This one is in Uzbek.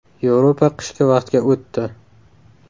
Yevropa qishki vaqtga o‘tdi.